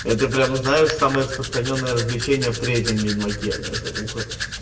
это прямо знаешь самое распространённое развлечения в третьем ведьмаке